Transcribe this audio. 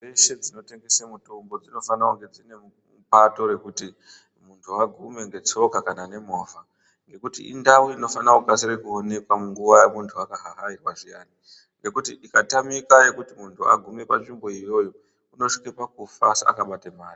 Ndau dzeshe dzinotengesa mutombo dzinofane kunge dzine pato rekuti mundu agume ngetsoka kana movha nekuti indau uninofana kukasika kuonekwa nguwa yemundu akahahairwa zviyani ngokuti ikatamika yekuti mundu agume panzvimbo iyoyo unosvika pakufa asi akabate mari